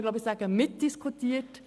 Ich glaube, dies kann man sagen.